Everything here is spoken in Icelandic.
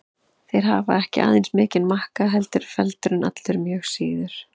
Þeir hafa ekki aðeins mikinn makka heldur eru feldurinn allur mjög síður.